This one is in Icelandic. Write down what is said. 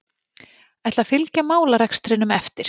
Ætla að fylgja málarekstrinum eftir